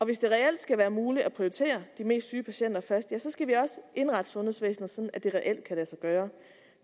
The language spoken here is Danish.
hvis det reelt skal være muligt at prioritere de mest syge patienter først skal vi også indrette sundhedsvæsenet sådan at det reelt kan lade sig gøre